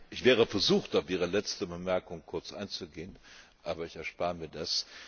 Ich wäre versucht, auf Ihre letzte Bemerkung kurz einzugehen, aber ich erspare mir das.